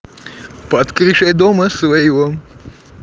под крышей дома своего